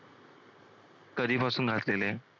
कधीपासून घातलेले आहे.